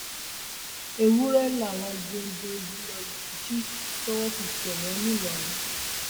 ewúrẹ làwọn géńdé yìí lọọ jí tọwọ fi tẹ wọn ńìlọrin